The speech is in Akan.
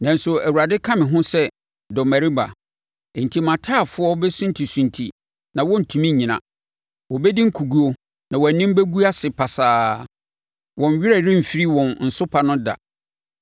Nanso, Awurade ka me ho sɛ dɔmmarima; enti mʼataafoɔ bɛsuntisunti na wɔrentumi nnyina. Wɔbɛdi nkoguo na wɔn anim bɛgu ase pasaa; wɔn werɛ remfiri wɔn nsopa no da.